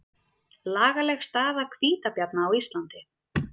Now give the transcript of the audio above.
Lagaleg staða hvítabjarna á Íslandi